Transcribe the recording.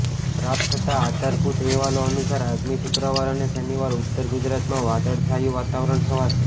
પ્રાપ્ત થતા આધારભૂત અહેવાલો અનુસાર આગામી શુક્રવાર અને શનિવારે ઉત્તર ગુજરાતમાં વાદળછાયું વાતાવરણ છવાશે